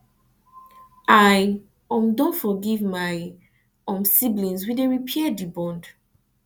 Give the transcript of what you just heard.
i um don forgive my um siblings we dey try repair di bond